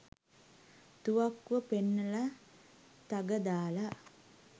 තුවක්කුව පෙන්නලා තග දාලා